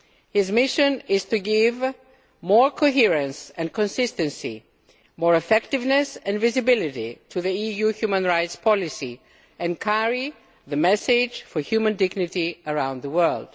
His mission is to give more coherence and consistency, more effectiveness and visibility to the EU human rights policy and carry the message for human dignity around the world.